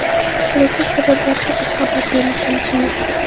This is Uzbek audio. Halokat sabablari haqida xabar berilganicha yo‘q.